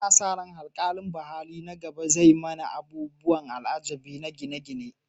Ana sa ran haikalin Baha'i na gaba zai zama abubuwan al'ajabi na gine-gine.